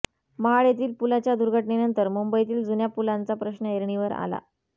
महाड येथील पुलाच्या दुर्घटनेनंतर मुंबईतील जुन्या पुलांचा प्रश्न ऐरणीवर आला